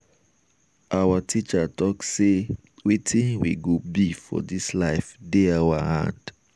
our teacher talk sey wetin we go be for dis life dey our hand.